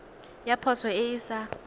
ya poso e e sa